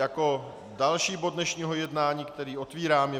Jako další bod dnešního jednání, který otevírám, je